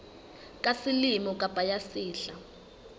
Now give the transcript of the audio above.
ya selemo kapa ya sehla